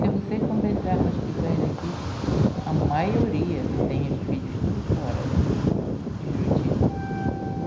Se você conversar com as pessoas daqui, a maioria tem os filhos tudo fora daqui, de Juruti.